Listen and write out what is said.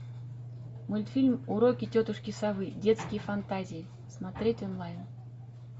мультфильм уроки тетушки совы детские фантазии смотреть онлайн